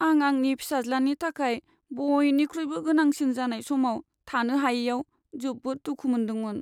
आं आंनि फिसाज्लानि थाखाय बयनिख्रुइबो गोनांसिन जानाय समाव थानो हायैआव जोबोद दुखु मोनदोंमोन।